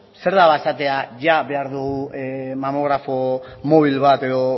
zer da esatea jada behar dugu mamografo mobil bat edo